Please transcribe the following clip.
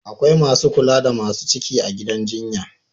Akwai Masu kula da Masu ciki a gidan jjinya